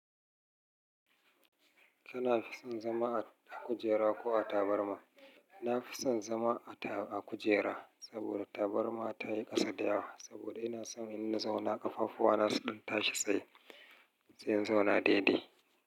Kana fi son zama a kujera ko a tabarma? Na fi son zama a taba- a kujera saboda tabarma ta yi ƙasa da yawa. Saboda ina son in na zauna ƙafafuwa na su ɗan tashi sai in sai in zauna daidai.